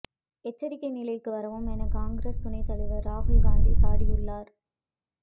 எச்சரிக்கை நிலைக்கு வரவும் என காங்கிரஸ் துணைத் தலைவர் ராகுல்காந்தி சாடியுள்ளார்